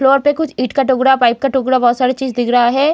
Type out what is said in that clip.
Floor पे कुछ ईंट का टुकड़ा पाइप का टुकड़ा बहुत सारे चीज दिख रहा हैं।